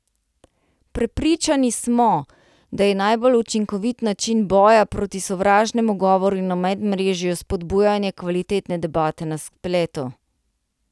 Prepričani smo, da je najbolj učinkovit način boja proti sovražnemu govoru na medmrežju spodbujanje kvalitetne debate na spletu.